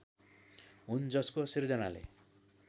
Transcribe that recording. हुन् जसको सृजनाले